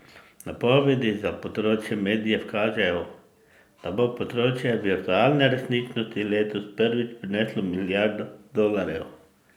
Napovedi za področje medijev kažejo, do bo področje virtualne resničnosti letos prvič prineslo milijardo dolarjev.